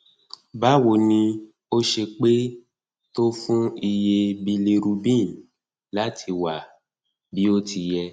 báwo ni ó ṣe pẹ tó fún iye bilirubin láti wá bí ó ti yẹ